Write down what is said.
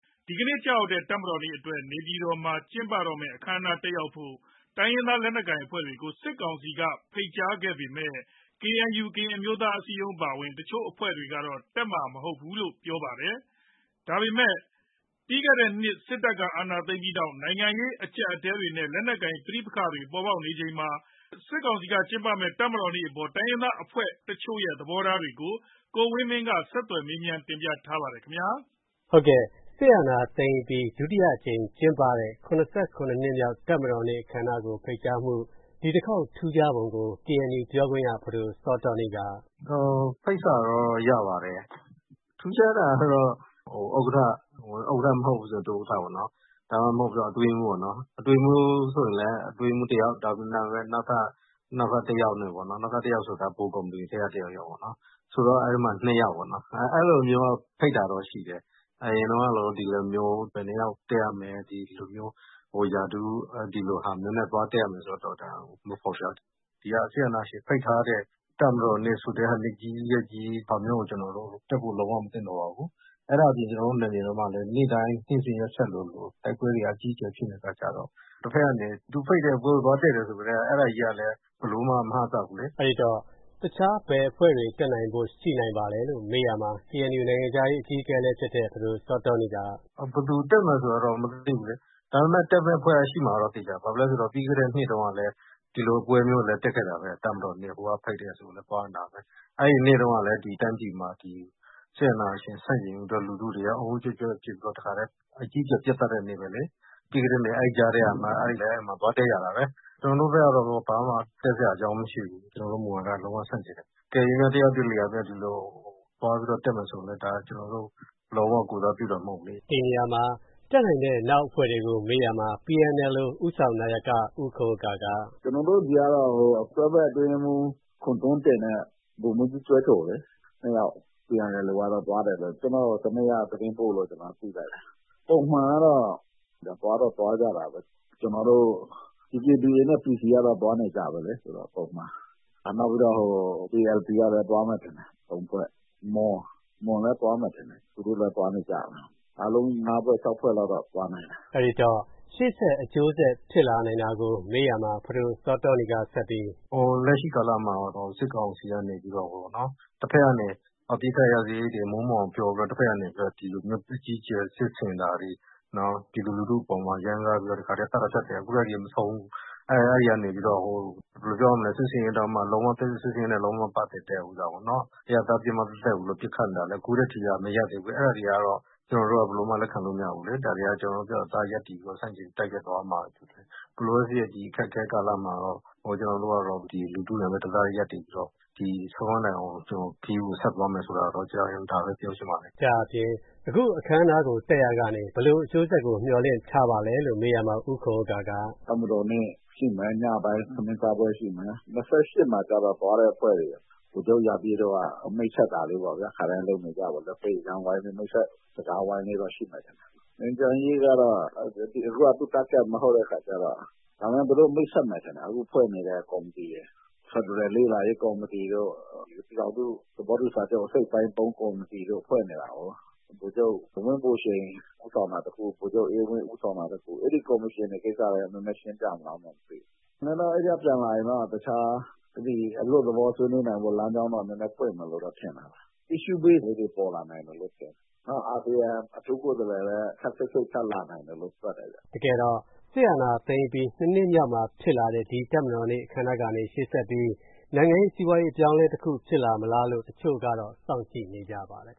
ဒီကနေ့ကျရောက်တဲ့ တပ်မတော်နေ့အတွက် နေပြည်တော်မှာ ကျင်းပမယ့် အခမ်းအနားကို တက်ရောက်ဖို့ တိုင်းရင်းသား လက်နက်ကိုင်အဖွဲ့တွေကို စစ်ကောင်စီက ဖိတ်ကြားထားပေမဲ့ KNU ကရင်အမျိုးသားအစည်းအရုံး အပါအဝင် တချို့အဖွဲ့တွေကတော့ တက်မှာမဟုတ်ဘူးလို့ ပြောပါတယ်။ ပြီးခဲ့တဲ့နှစ်ထဲ စစ်တပ်က အာဏာသိမ်းလိုက်ပြီးနောက် နိုင်ငံရေးအကျပ်အတည်းတွေနဲ့ လက်နက်ကိုင် ပဋိပက္ခတွေ ပေါ်ပေါက်နေချိန်မှာ စစ်ကောင်စီက ကျင်းပမယ့် တပ်မတော်နေ့အပေါ် တိုင်းရင်းသား အဖွဲ့အစည်းတချို့ရဲ့ သဘောထားတွေကို ကိုဝင်းမင်းက ဆက်သွယ်မေးမြန်း တင်ပြထားပါတယ်။ စစ်အာဏာသိမ်းအပြီး ဒုတိယအကြိမ် ကျင်းပတဲ့ ၇၇ နှစ်မြောက် တပ်မတော်နေ့ အခမ်းအနားကို ဖိတ်ကြားမှု ဒီတခေါက် ထူးခြားပုံကို KNU ပြောခွင့်ရ ဖဒိုစောတောနီးက အခုလိုပြောပါတယ်။ “ဖိတ်စာတော့ ရပါတယ်။ ထူးခြားတာကတော့ ဥက္ကဋ္ဌ၊ ဥက္ကဋ္ဌမဟုတ်ဘူးဆို ဒုဥက္ကဋ္ဌပေါ့၊ ဒါမှမဟုတ် အတွင်းရေးမှူးပေါ့၊ အတွင်းရေးမှူးဆိုလည်း အတွင်းရေးမှူးတယောက်၊ နောက်ထပ် ဗဟိုကော်မတီထဲက တယောက်ယောက်ပေါ့၊ ဆိုတော့ ၂ ယောက်ပေါ့၊ အဲ့လိုမျိုး ဖိတ်တာတော့ရှိတယ်။ အရင်တုန်းကလိုမျိုး ဘယ်နှစ်ယောက်တက်ရမယ်၊ ဒီလို ရာထူးနဲ့ သွားတက်ရမယ် ဆိုတာမျိုး မဖော်ပြဘူး။ ဒီ စစ်အာဏာရှင် ဖိတ်ထားတဲ့ တပ်မတော်နေ့ ဆိုတဲ့ နေ့ကြီး ရက်ကြီး ဆိုတာမျိုးကို ကျနော်တို့ တက်ဖို့ လုံးဝ မသင့်တော်ပါဘူး။ အဲ့ဒါအပြင် ကျနော်တို့ နယ်မြေထဲမှာလည်း နေ့တိုင်း နေ့စဉ်ရက်ဆက်သလို တိုက်ပွဲတွေက အကြီးအကျယ် ဖြစ်နေတဲ့ အခါကြတော့ ဒုက္ခရောက်နေတယ်။ သူဖိတ်တဲ့ပွဲကို သွားတက်တယ်ဆိုကတည်းက အဲဒါကြီးကလည်း ဘယ်လိုမှ မအပ်စပ်ဘူးလေ။” အဲဒီတော့ တခြား ဘယ်အဖွဲ့တွေ တက်နိုင်ဖို့ရှိပါလဲလို့ မေးရာမှာ KNU နိုင်ငံခြားရေး အကြီးအကဲလည်း ဖြစ်တဲ့ ဖဒိုစောတောနီးက အခုလို ဆက်ပြောပြပါတယ်။ “ဘယ်သူတက်မယ်ဆိုတာတော့ မသိဘူးလေ။ ဒါပေမယ့် တက်မယ့်အဖွဲ့ ရှိမှာကတော့ သေချာပါတယ်။ ဘာဖြစ်လို့လဲဆိုတော့ ပြီးခဲ့တဲ့နှစ်တုန်းကလည်း ဒီလိုပွဲမျိုး တက်ခဲ့တာပဲ။ တပ်မတော်နေ့ ဟိုကဖိတ်တယ်ဆိုရင် သွားနေတာပဲ။ အဲဒီနေ့တုန်းကလည်း ဒီတိုင်းပြည်မှာ စစ်အာဏာရှင် ဆန့်ကျင်ရေးအတွက် လူထုတွေက အုန်းအုန်းကျွက်ကျွက် ဖြစ်ပြီးတော့ တခါတည်း အကြီးအကျယ် ပစ်သတ်တဲ့နေ့ပဲလေ။ ပြီးခဲ့တဲ့နှစ် အဲဒီကြားထဲကမှ သွားတက်ရတာပဲ။ ကျနော်တို့ဘက်ကတော့ ဘာမှ တက်စရာအကြောင်းမရှိဘူး။ ကျနော်တို့ မူဝါဒက လုံးဝဆန့်ကျင်တယ်။ အကယ်၍များ တယောက်တလေက ဒီလို သွားတက်မယ်ဆိုရင်လည်း ဒါ ကျနော်တို့ကို လုံးဝ ကိုယ်စားပြုတာ မဟုတ်ဘူးလေ။” ဒီနေရာမှာ တက်နိုင်တဲ့ နောက်အဖွဲ့တွေကို မေးရာမှာ PNLO ဦးဆောင်နာယက ဦးခွန်ဥက္ကာက အခုလိုပြောပါတယ်။ “ကျနော်တို့ဆီကတော့ တွဲဘက်အတွင်းရေးမှူး ခွန်ထွန်းတင်နဲ့ ဗိုလ်မှူးကြီးကျွဲထိုလေ နှစ်ယောက်သွားတယ်လို့ ကျနော့်ကို တနေ့က သတင်းပို့လို့ ကျနော် သိလိုက်တယ်။ ပုံမှန်ကတော့ သွားတော့ သွားကြတာပဲ။ DKBA နဲ့ PC ကတော့ သွားနေကြပဲလေ ပုံမှန်။ ပြီးတော့ ALP ကလည်း သွားမယ်ထင်တယ်၊ သုံးဖွဲ့၊ မွန်လည်း သွားမယ်ထင်တယ်။ သူတို့လည်း သွားနေကြပဲ။ အားလုံး ၅ ဖွဲ့၊ ၆ ဖွဲ့လောက်တော့ သွားနိုင်တယ်။” အဲဒီတော့ ရှေ့ဆက် အကျိုးဆက် ဖြစ်လာနိုင်တာကို မေးရာမှာ ဖဒိုစောတောနီးက ဆက်ပြီး… “လက်ရှိကာလမှာတော့ စစ်ကောင်စီကနေပြီး တဖက်ကနေ အပစ်အခတ် ရပ်စဲရေးတွေ မိုးမွှန်အောင် ပြောပြီးတော့ တဖက်ကနေ အကြီးအကျယ် စစ်ဆင်တာတွေ၊ နောက် ပြည်သူလူထုအပေါ်မှာ ရမ်းကားပြီးတော့ သတ်တာဖြတ်တာတွေ အခုထက်ထိကို မဆုံးဘူး။ အဲဒီကနေပြီးတော့မှ စစ်ဆင်ရေးနဲ့ လုံးဝမပတ်သက်တဲ့ အရပ်သား ပစ်မှတ်သက်သက်ကို ပစ်ခတ်နေတာလည်း အခုထက်ထိ မရပ်သေးဘူး။ အဲဒါတွေကတော့ ကျနော်တို့က ဘယ်လိုမှ လက်ခံလို့ မရဘူးလေ။ ဒါတွေက ကျနော်တို့ ပြတ်ပြတ်သားသား ရပ်တည်ပြီးတော့ ဆန့်ကျင် တိုက်ခိုက်သွားရမှာပဲ ဖြစ်တယ်။ ဘယ်လိုပဲဖြစ်ဖြစ် ဒီအခက်အခဲ ကာလမှာတော့ ကျနော်တို့ကတော့ လူထုနဲ့ပဲ တသားတည်း ရပ်တည်ပြီးတော့ ဒီခရီးကို ဆုံးခန်းတိုင်အောင် ဆက်သွားမယ်လို့ ဒါပဲ ပြောချင်ပါတယ်။” လို့ ဆိုပါတယ်။ အခု အခမ်းအနားကို တက်ရာကနေ ဘယ်လိုအကျိုးဆက်ကို မျှော်လင့်ထားပါသလဲလို့ မေးရာမှာ ဦးခွန်ဥက္ကာက အခုလိုပြောပါတယ်။ “တပ်မတော်နေ့ ညပိုင်းမှာ ထမင်းစားပွဲရှိမယ်။ ၂၈ မှာတော့ သွားတဲ့အဖွဲ့တွေကို ဗိုလ်ချုပ်ရာပြည့်တို့က မိတ်ဆက်တာလေးပေါ့ဗျာ၊ ခါတိုင်းလုပ်နေကြပေါ့ လက်ဖက်ရည်ကြမ်းဝိုင်းနဲ့ နှုတ်ဆက်စကားဝိုင်းလေးတော့ ရှိမယ်ထင်တယ်။ ငြိမ်းချမ်းရေးကတော့ သူတို့ မိတ်ဆက်မယ်ထင်တယ်၊ အခုဖွဲ့နေတဲ့ ကော်မတီရယ်၊ ဖက်ဒရယ်လေ့လာရေး ကော်မတီတို့၊ ပြည်ထောင်စုသဘောတူစာချုပ် အစိတ်အပိုင်း ၃ ကော်မတီတို့ ဖွဲ့နေတာကိုး။ ဗိုလ်ချုပ်ဝင်းဘိုရှိန် ဦးဆောင်တာတခု၊ ဗိုလ်ချုပ်အေးဝင်း ဦးဆောင်တာတခု၊ အဲဒီကော်မရှင်တွေ ကိစ္စလည်း နည်းနည်းရှင်းပြမလား မသိဘူး။ ကျနော်တို့ အဲဒီက ပြန်လာရင်တော့ တခြား အလွတ်သလော ဆွေးနွေးနိုင်ဖို့ လမ်းကြောင်း နည်းနည်းပွင့်မယ်လို့တော့ ထင်တာပဲ။ အစ်ရှူးဘေ့စ်လေးတွေ ပေါ်လာနိုင်မယ်လို့ ထင်တယ်။ အာဆီယံ အထူးကိုယ်စားလှယ်လည်း ခပ်စိတ်စိတ် ထပ်လာနိုင်တယ်လို့ တွက်တယ်ဗျ။” တကယ်တော့ စစ်အာဏာသိမ်းပြီး ၂ နှစ်မြောက်မှာ ဖြစ်လာတဲ့ ဒီတပ်မတော်နေ့ အခမ်းအနားကနေ ရှေ့ဆက်ပြီး နိုင်ငံရေး၊ စီးပွားရေး အပြောင်းအလဲတခု ဖြစ်လာမလားလို့ တချို့ကတော့ စောင့်ကြည့်နေကြပါတယ်